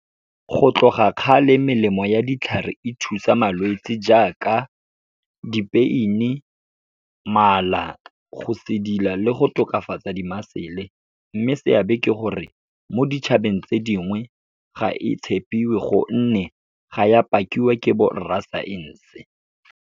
Go tloga kgale, melemo ya ditlhare e thusa malwetse jaaka di-pain-e, mala, go sedila le go tokafatsa di-muscle-e. Mme seabe ke gore, mo ditšhabeng tse dingwe, ga e tshepiwe gonne ga ya pakiwa ke borra science-e.